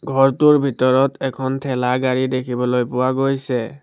ঘৰটোৰ ভিতৰত এখন ঠেলা গাড়ী দেখিবলৈ পোৱা গৈছে।